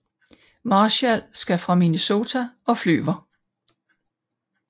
Marshall skal fra Minnesota og flyver